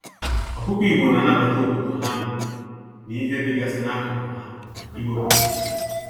Ọkụkọ igbo na anabata obodo ha nọ na ihe dịgasị n'akụkụ ha n'ime obodo ha.